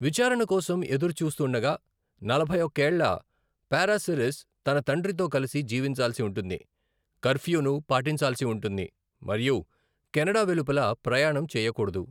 విచారణ కోసం ఎదురుచూస్తుండగా, నలభై ఒక్క ఏళ్ల పారాసిరిస్ తన తండ్రితో కలిసి జీవించాల్సి ఉంటుంది, కర్ఫ్యూను పాటించాల్సి ఉంటుంది మరియు కెనడా వెలుపల ప్రయాణం చేయకూడదు.